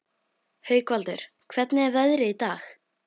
Haukvaldur, hvernig er veðrið í dag?